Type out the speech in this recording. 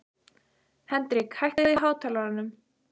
Hendrik, hækkaðu í hátalaranum.